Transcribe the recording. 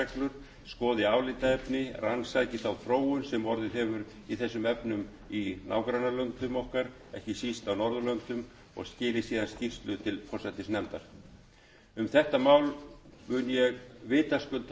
um skipan nefndar sem fari yfir gildandi lagareglur skoði álitaefni rannsaki þá þróun sem orðið hefur í þessum efnum í nágrannalöndum okkar ekki síst á norðurlöndum og skili ráða skýrslu til forsætisnefndar um þetta mál mun ég vitaskuld hafa